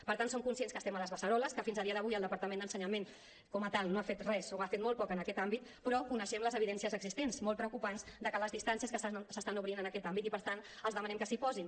per tant som conscients que estem a les beceroles que fins al dia d’avui el departament d’ensenyament com a tal no ha fet res o ha fet molt poc en aquest àmbit però coneixem les evidències existents molt preocupants que les distàncies que s’estan obrint en aquest àmbit i per tant els demanem que s’hi posin